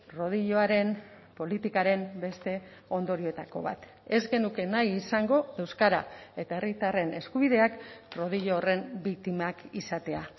rodilloaren politikaren beste ondorioetako bat ez genuke nahi izango euskara eta herritarren eskubideak rodillo horren biktimak izatea